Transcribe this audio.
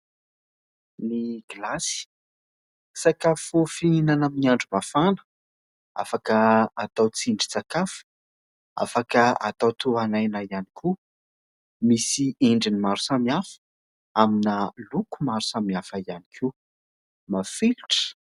Ny gilasy sakafo fihinana amin'ny andro mafana, afaka atao tsindrin-tsakafo, afaka atao tohan'aina ihany koa misy endrin'ny maro samihafa amina loko maro samihafa ihany koa mafilotra !